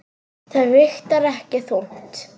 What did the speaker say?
Það vigtar ekki þungt.